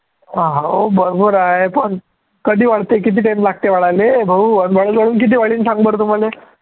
हो बरोबर आहे, पण कधी वाढते आणि किती time लागते वाढायले भाऊ आणि वाढून वाढून किती वाढीन सांग बरं तू मले